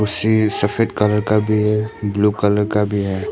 सीढ़ी सफेद कलर का भी है ब्लू कलर का भी है।